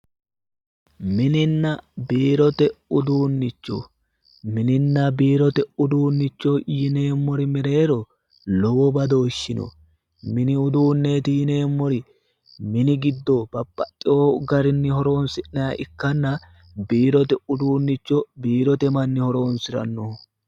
Mininna biirote uduunicho ,mininna biirote uduunicho yinneemmori mereero lowo badooshi no, mini uduuneti yinneemmori mini giddo babbaxino garinni horonsi'nanniha ikkanna, biirote uduunicho biirote manni horonsiranoho.